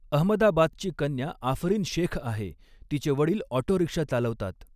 अहमदाबादची कन्या आफरीन शेख़ आहे, तिचे वडील ऑटो रिक्षा चालवतात.